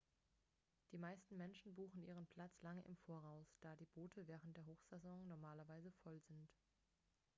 die meisten menschen buchen ihren platz lange im voraus da die boote während der hochsaison normalerweise voll sind